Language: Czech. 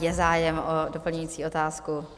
Je zájem o doplňující otázku?